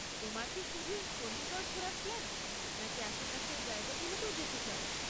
তোমার কি শুধুই চণ্ডীগড় ঘোরার প্ল্যান, নাকি আশেপাশের জায়গাগুলোতেও যেতে চাও?